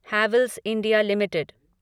Havells India limited